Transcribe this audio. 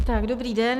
Tak dobrý den.